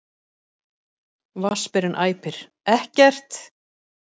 Vatnsberinn æpir: Ekkert!